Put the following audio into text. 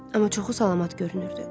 Amma çoxu salamat görünürdü.